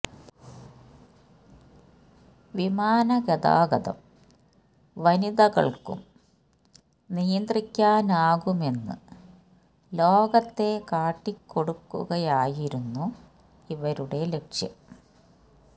വിമാന ഗതാഗതം വനിതകള്ക്കും നിയ്ന്ത്രിക്കാനാകും എന്ന് ലോകത്തെ കാട്ടികൊടുക്കുകയായിരുന്നു ഇവരുടെ ലക്ഷ്യം